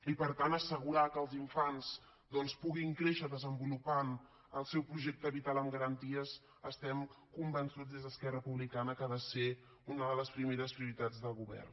i per tant assegurar que els infants doncs puguin créixer desenvolupant el seu projecte vital amb garanties estem convençuts des d’esquerra republicana que ha de ser una de les primeres prioritats del govern